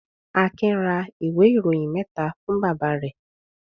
Akin ra ìwé-ìròyìn mẹ́ta fún bàbá rẹ̀?